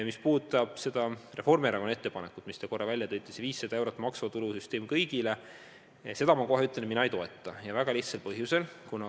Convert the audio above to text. Mis puudutab Reformierakonna ettepanekut, mille te välja tõite – 500 eurot maksuvaba tulu kõigile –, siis seda mina ei toeta, ja väga lihtsal põhjusel.